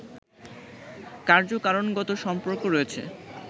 কার্যকারণগত সম্পর্ক রয়েছে